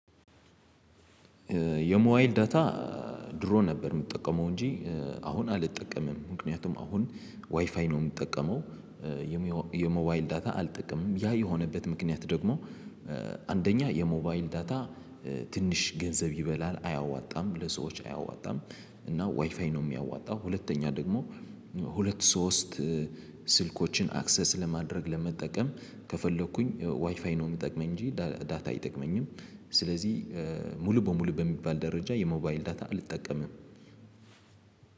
የሞባይል ዳታ ድሮ ነበር የምጠቀመው እንጂ አሁን አልጠቀምም ምክንያቱም አሁን ዋይፋይ ነው የምጠቀመው። የሞባይል ዳታ አልጠቀምም ያ የሆነበት ምክንያት ደግሞ። አንደኛ የሞባይል ዳታ ትንሽ ገንዘብ ይበላል አያዋጣም ለሰዎች አያዋጣም። እና ዋይፋይ ነው የሚያዋጣው። ሁለተኛ ደግሞ ሁለት ሶስት ስልኮችን አክሰስ ለማድረግ ለመጠቀም ከፈለኩኝ ዋይፋይ ነው የሚጠቅመኝ እንጂ ዳታ አይጠቅመኝም። ስለዚህ ሙሉ በሙሉ በሚባል ደረጃ የሞባይል ዳታ አልጠቀምም።